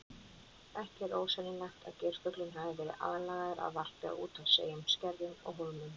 Ekki er ósennilegt að geirfuglinn hafi verið aðlagaður að varpi á úthafseyjum, skerjum og hólmum.